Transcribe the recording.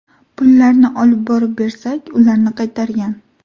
Pullarni olib borib bersak, ularni qaytargan.